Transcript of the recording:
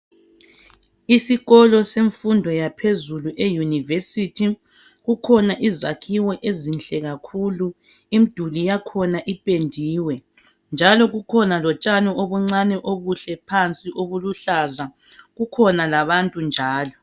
Isikolo semfundo yaphezulu i university kukhona izakhiwo ezinhle kakhulu imduli yakhona ipendiwe njalo kukhona lotshani obuncani obuhle phansi obuluhlaza kukhona labantu njalo